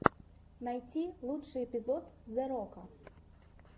найти лучший эпизод зе рока